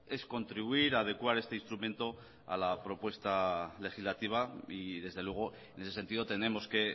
es contribuir a adecuar este instrumento a la propuesta legislativa y desde luego en ese sentido tenemos que